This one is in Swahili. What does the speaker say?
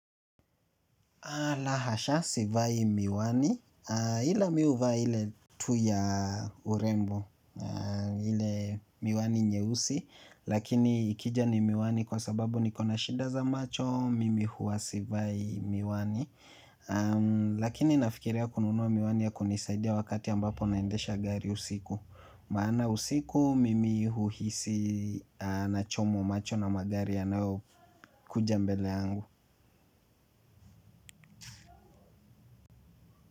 La hasha, sivai miwani. Ila mi huvaa ile tu ya urembo. Ile miwani nyeusi. Lakini ikija ni miwani kwa sababu nikona shida za macho. Mimi huwa sivai miwani. Lakini nafikiria kununua miwani ya kunisaidia wakati ambapo naendesha gari usiku. Maana usiku, mimi huhisi nachomwa macho na magari yanayokuja mbele yangu.